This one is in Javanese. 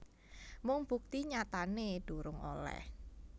Mung bukti nyatané durung olèh